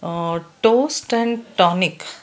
ಆ toast and tonic --